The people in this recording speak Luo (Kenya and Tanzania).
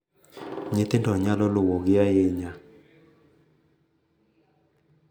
Nyithindo nyalo luwogi ahinya